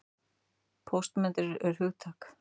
Póstmódernismi er hugtak.